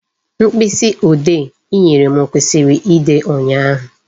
Mkpịsị ode I nyere m kwụsịrị ide ụnyaahụ